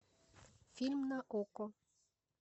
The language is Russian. фильм на окко